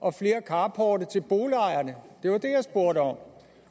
og flere carporte til boligejerne det var det jeg spurgte om